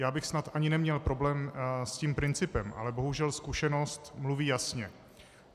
Já bych snad ani neměl problém s tím principem, ale bohužel zkušenost mluví jasně.